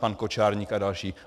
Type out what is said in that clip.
Pan Kočárník a další.